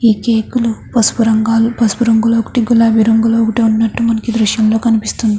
ఇక కేకును పసుపు రంగులో పసుపు రంగులో ఒకటి గులాబి రంగులోనే ఒకటి ఉన్నట్టు ఈ దృశ్యం లో కనిపిస్తూ ఉన్నది.